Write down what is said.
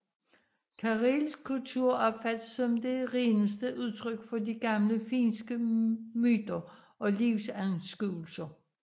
Karelsk kultur opfattes som det reneste udtryk for de gamle finske myter og livsanskuelser